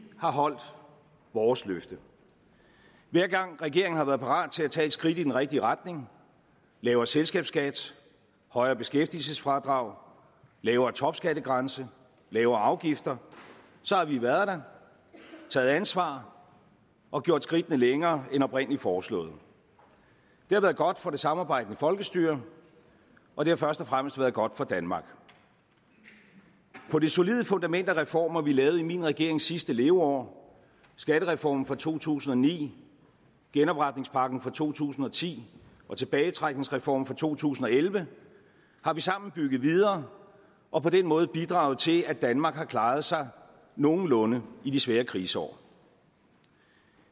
har holdt vores løfte hver gang regeringen har været parat til at tage et skridt i den rigtige retning lavere selskabsskat højere beskæftigelsesfradrag lavere topskattegrænse lavere afgifter så har vi været der taget ansvar og gjort skridtene længere end oprindelig foreslået det har været godt for det samarbejdende folkestyre og det har først og fremmest være godt for danmark på det solide fundament af reformer vi lavede i min regerings sidste leveår skattereformen fra to tusind og ni genopretningspakken fra to tusind og ti og tilbagetrækningsreformen fra to tusind og elleve har vi sammen bygget videre og på den måde bidraget til at danmark har klaret sig nogenlunde i de svære kriseår